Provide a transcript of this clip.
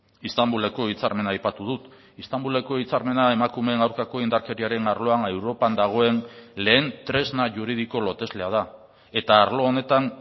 istanbuleko hitzarmena aipatu dut istanbuleko hitzarmena emakumeen aurkako indarkeriaren arloan europan dagoen lehen tresna juridiko loteslea da eta arlo honetan